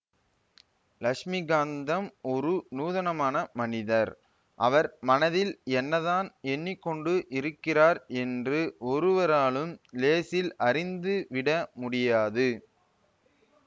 லக்ஷ்மிகாந்தம் ஒரு நூதனமான மனிதர் அவர் மனதில் என்னதான் எண்ணி கொண்டு இருக்கிறார் என்று ஒருவராலும் லேசில் அறிந்து விட முடியாது